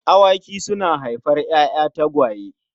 Awaki suna haifar ‘ya’ya tagwaye.